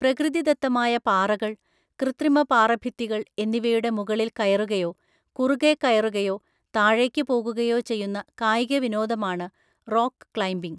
പ്രകൃതി ദത്തമായ പാറകൾ, കൃത്രിമ പാറഭിത്തികൾ എന്നിവയുടെ മുകളിൽ കയറുകയോ, കുറുകെ കയറുകയോ, താഴേക്കു പോകുകയോ ചെയ്യുന്ന കായിക വിനോദമാണ് റോക്ക് ക്ലൈംബിംഗ്.